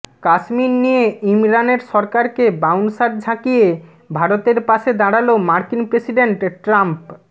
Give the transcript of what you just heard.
কাশ্মীর নিয়ে ইমরানের সরকারকে বাউন্সার ঝাঁকিয়ে ভারতের পাশে দাঁড়ালো মার্কিন প্রেসিডেন্ট ট্রাম্প